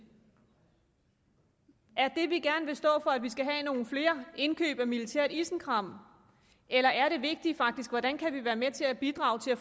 er det vi gerne vil stå for at vi skal have flere indkøb af militært isenkram eller er det vigtige faktisk hvordan vi kan være med til at bidrage til at